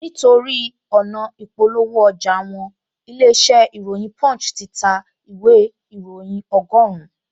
Nítorí ọ̀nà ị̀polówó ọjà wọn, ilé-iṣẹ́ ìròyìn punch ti ta ìwé ìróyìn ọgọ́rùn-un